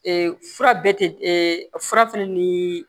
fura bɛ tɛ fura fɛnɛ ni